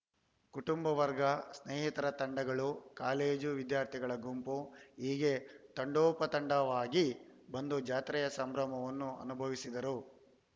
ಕುಟುಂಬ ವರ್ಗ ಸ್ನೇಹಿತರ ತಂಡಗಳು ಕಾಲೇಜು ವಿದ್ಯಾರ್ಥಿಗಳ ಗುಂಪು ಹೀಗೆ ತಂಡೋಪತಂಡವಾಗಿ ಬಂದು ಜಾತ್ರೆಯ ಸಂಭ್ರಮವನ್ನು ಅನುಭವಿಸಿದರು